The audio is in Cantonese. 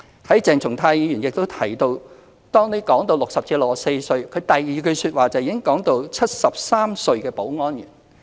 當鄭松泰議員談到60歲至64歲的問題時，第二句便已講到73歲的保安員。